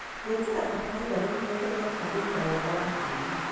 Gwĩkĩra bataraitha nĩgũteithagia kwagĩria wega wa tĩri.